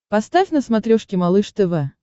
поставь на смотрешке малыш тв